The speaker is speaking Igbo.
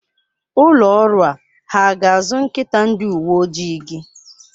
Ụlọ ọrụ a ha ga-azụ nkịta ndi uwe ojii gị?